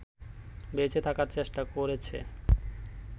বেঁচে থাকার চেষ্টা করেছে